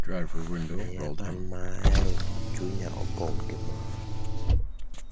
miya an maahero chunya opong gi mor